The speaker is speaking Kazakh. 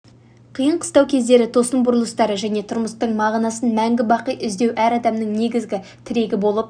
қиын-қыстау кездері тосын бұрылыстары және тұрмыстың мағынасын мәңгі бақи іздеу әр адамның негізгі тірегі болып